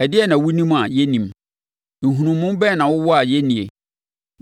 Ɛdeɛn na wonim a, yɛnnim? Nhunumu bɛn na wowɔ a yɛnnie?